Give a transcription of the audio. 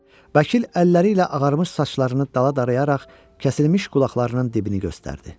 Vəkil əlləri ilə ağarmış saçlarını dala darayaraq kəsilmiş qulaqlarının dibini göstərdi.